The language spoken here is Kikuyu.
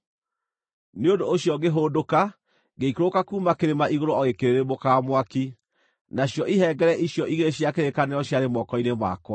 Nĩ ũndũ ũcio ngĩhũndũka ngĩikũrũka kuuma kĩrĩma igũrũ o gĩkĩrĩrĩmbũkaga mwaki. Nacio ihengere icio igĩrĩ cia kĩrĩkanĩro ciarĩ moko-inĩ makwa.